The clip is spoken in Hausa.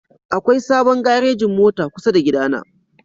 Akwai sabon garejin mota kusa da gidana